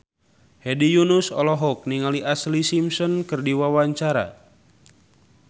Hedi Yunus olohok ningali Ashlee Simpson keur diwawancara